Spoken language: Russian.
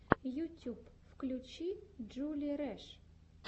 ютюб включи джули рэш